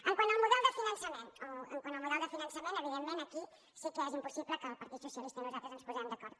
quant al model de finançament evidentment aquí sí que és impossible que el partit socialista i nosaltres ens posem d’acord